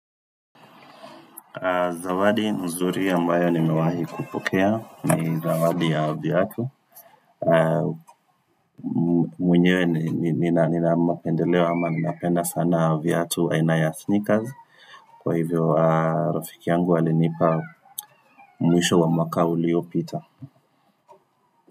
Zawadi nzuri ambayo nimewahi kupokea ni zawadi ya viatu mwenyewe nina mapendeleo ama ninapenda sana viatu aina ya sneakers Kwa hivyo rafiki yangu alinipa mwisho wa mwaka uliopita.